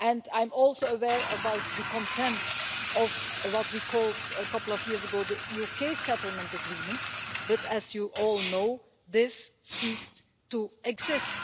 I'm also aware of the content of what we called a couple of years ago the UK settlement agreement, but, as you all know, this ceased to exist.